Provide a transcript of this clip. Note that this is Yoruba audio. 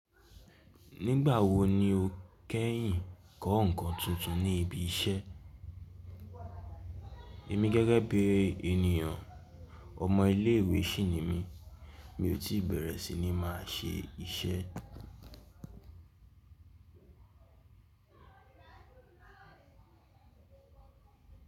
Nígbà wo ni o kẹ́yìn kọ́ ǹkan tuntun ní ibi iṣẹ́? Èmi gẹ́gẹ́ bí ènìyàn, ọmọ ilé ìwé ṣinì mi. Mi ò tí bẹ̀rẹ̀ sí ní máa ṣe iṣẹ́.